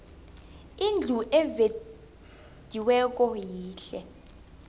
indlu evediweko yihle